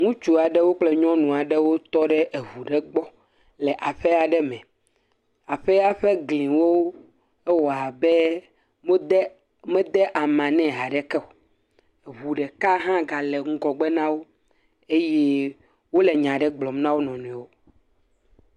Ŋutsua ɖewo kple nyɔnu aɖewo tɔ ɖe eʋu ɖe gbɔ le aƒea ɖe me, aƒea ƒe gliwo ewɔa be mede ama ne haɖe keo, eʋu ɖeka hã ga le ŋgɔgbe nawo, eye o le nya ɖe gblɔm na o nɔnɔewo.